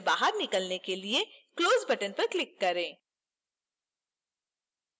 इस window से बाहर निकलने के लिए close button पर click करें